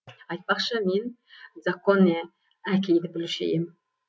айтпақшы мен дзакконе әкейді білуші ем